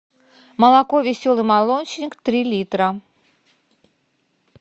молоко веселый молочник три литра